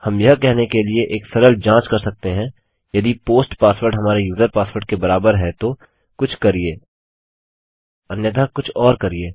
हम यह कहने के लिए एक सरल जाँच कर सकते हैं यदि पोस्ट पासवर्ड हमारे यूजर पासवर्ड के बराबर है तो कुछ करिये अन्यथा कुछ और करिये